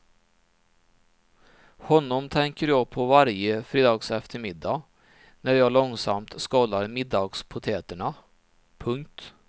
Honom tänker jag på varje fredagseftermiddag när jag långsamt skalar middagspotäterna. punkt